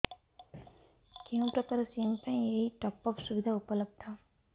କେଉଁ ପ୍ରକାର ସିମ୍ ପାଇଁ ଏଇ ଟପ୍ଅପ୍ ସୁବିଧା ଉପଲବ୍ଧ